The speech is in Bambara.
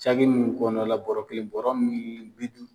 nunnu kɔnɔna la bɔrɔ be yen , bɔrɔ